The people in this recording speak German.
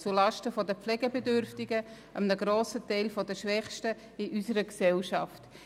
Dies geschieht zulasten der Pflegebedürftigen, einem grossen Teil der Schwächsten in unserer Gesellschaft.